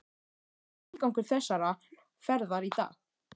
Hver var tilgangur þessarar ferðar í dag?